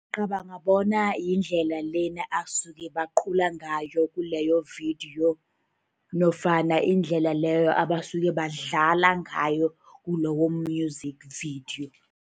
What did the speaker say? Ngicabanga bona yindlela lena asuke bacula ngayo kuleyo-video, nofana indlela leyo abasuka badlala ngayo kulowo-music video.